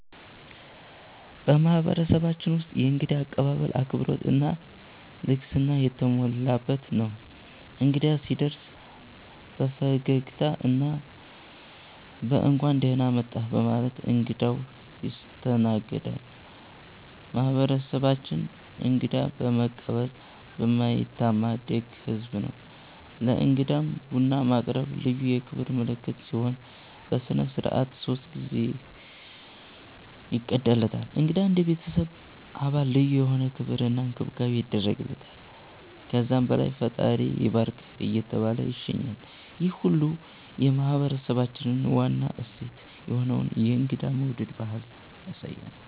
በማህበረሰባችን ውስጥ የእንግዳ አቀባበል አክብሮት እና ልግስና የተሞላበት ነው። እንግዳ ሲደርስ በፈገግታ እና በ“እንኳን ደህና መጣህ” በማለት እንግዳው ይስተናገዳል። ማህበረሰባችን እንግዳ በመቀበል የማይታማ ደግ ህዝብ ነው። ለእንግዳም ቡና ማቅረብ ልዩ የክብር ምልክት ሲሆን፣ በሥነ ሥርዓት ሶስት ጊዜ ይቀዳለታል። እንግዳ እንደ ቤተሰብ አባል ልዩ የሆነ ክብር እና እንክብካቤ ይደረግለታል። ከዛም በኋላ “ፈጣሪ ይባርክህ” እየተባለ ይሸኛል፣ ይህ ሁሉ የማህበረሰባችንን ዋና እሴት የሆነውን የእንግዳ መውደድ ባህል ያሳያል።